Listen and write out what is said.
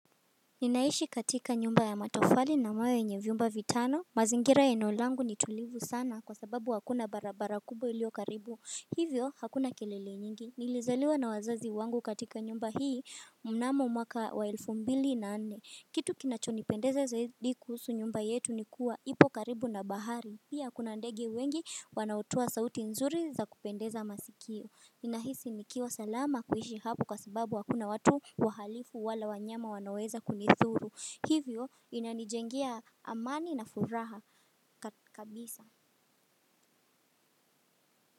Ninaishi katika nyumba ya matofali na mawe yenye vyumba vitano mazingira ya eneo langu ni tulivu sana kwa sababu hakuna barabara kubwa iliyo karibu hivyo hakuna kelele nyingi Nilizaliwa na wazazi wangu katika nyumba hii mnamo mwaka wa elfu mbili na nne Kitu kinachonipendeza zaidi kuhusu nyumba yetu nikuwa ipo karibu na bahari Pia kuna ndege wengi wanaotoa sauti nzuri za kupendeza masikio ninahisi nikiwa salama kuishi hapo kwa sababu hakuna watu wahalifu wala wanyama wanaoweza kunidhuru Hivyo inanijengea amani na furaha kabisa.